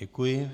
Děkuji.